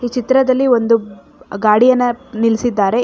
ಈ ಚಿತ್ರದಲ್ಲಿ ಒಂದು ಗಾಡಿಯನ್ನು ನಿಲ್ಲಿಸಿದ್ದಾರೆ.